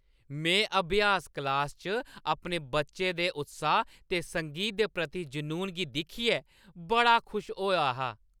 में अभ्यास क्लासा च अपने बच्चे दे उत्साह ते संगीत दे प्रति जुनून गी दिक्खियै बड़ा खुश होआ हा।